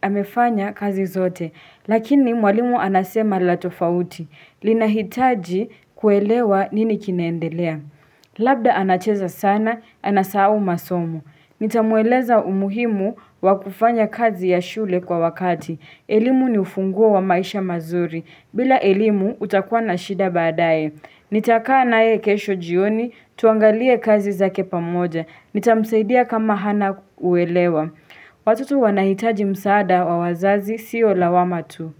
amefanya kazi zote. Lakini mwalimu anasema la tofauti. Linahitaji kuelewa nini kineendelea. Labda anacheza sana, anasahau masomo. Nitamueleza umuhimu wa kufanya kazi ya shule kwa wakati. Elimu ni ufunguo wa maisha mazuri. Bila elimu utakuwa na shida baadaye. Nitakaa naye kesho jioni, tuangalie kazi zake pamoja. Nitamsaidia kama hana uelewa. Watoto wanahitaji msaada wa wazazi siyo lawama tu.